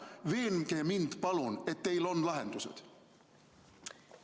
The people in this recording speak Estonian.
Veenge mind, palun, et teil on lahendused!